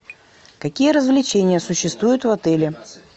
какие развлечения существуют в отеле